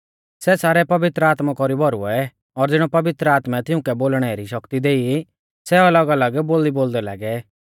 सै सारै पवित्र आत्मा कौरी भौरुऐ और ज़िणौ पवित्र आत्मै तिउंकै बोलणै री शक्ति देई सै अलगअलग बोली बोलदै लागै